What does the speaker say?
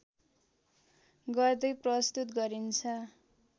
गर्दै प्रस्तुत गरिन्छ